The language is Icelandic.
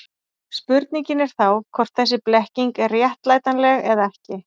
Spurningin er þá hvort þessi blekking er réttlætanleg eða ekki.